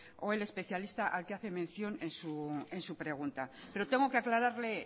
o el especialista al que hace mención en su pregunta pero tengo que aclararle